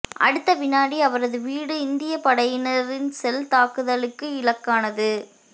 அடுத்த வினாடி அவரது வீடு இந்தியப் படையினரின் செல் தாக்குதலுக்கு இலக்கானது